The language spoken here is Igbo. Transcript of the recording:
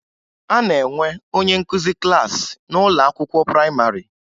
A na-enwe onye nkụzi klassị n'ụlọ akwụkwọ prayịmarị